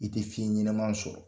I tɛ fiɲɛ ɲanaman sɔrɔ.